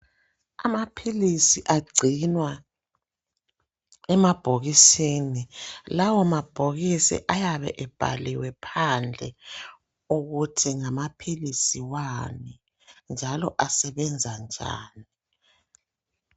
Amaphilisi agcinwa emabhokisini lawa mabhokisi ayabe ebhaliwe phandle ukuthi ngamaphilisi wani njalo asebenza njani.